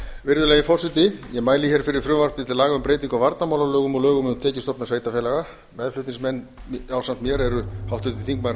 virðulegi forseti ég mæli fyrir frumvarpi til laga um breytingu á varnarmálalögum og lögum um tekjustofna sveitarfélaga meðflutningsmenn ásamt mér eru háttvirtir þingmenn